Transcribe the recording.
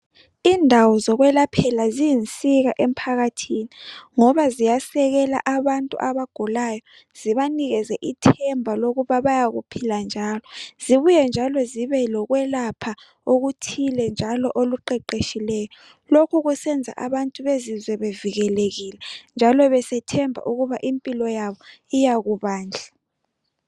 Indawo zokwelaphela ziyinsika emphakathini .Ngoba ziyasekela abantu abagulayo .Zibanikeze ithemba lokuba bayakuphila njalo . Zibuye njalo zibe lokwelapha okuthile njalo oluqeqetshileyo .Lokhu kusenza abantu bezizwe bevikelekile njalo besethemba ukuba impilo yabo iyakuba nhle .